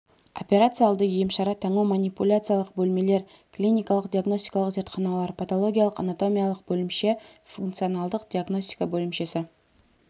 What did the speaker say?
операция алды емшара таңу манипуляциялық бөлмелер клиникалық-диагностикалық зертханалар паталогиялық-анатомиялық бөлімше фунционалдық диагностика бөлімшесі